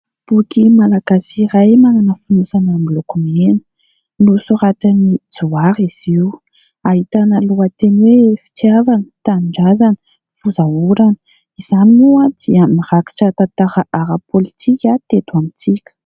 Boky malagasy iray, manana fonosana miloko mena. Nosoratan'i Johary izy io. Ahitana lohateny hoe fitiavana tanin-drazana fozaorana. Izany moa dia mirakitra tantara ara-politika teto amintsika.